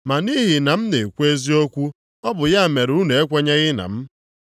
Ma nʼihi na m na-ekwu eziokwu, ọ bụ ya mere unu ekwenyeghị na m.